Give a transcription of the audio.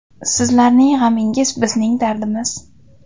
Sizlarning g‘amingiz bizning dardimiz.